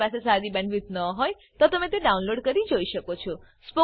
જો તમારી પાસે સારી બેન્ડવિડ્થ ન હોય તો તમે વિડીયો ડાઉનલોડ કરીને જોઈ શકો છો